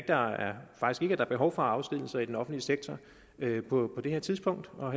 der er behov for afskedigelser i den offentlige sektor på det her tidspunkt og